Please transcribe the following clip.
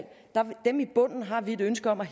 bunden har vi et ønske om at